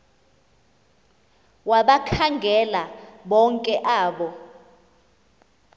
wabakhangela bonke abo